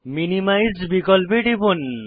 minimise বিকল্পে টিপুন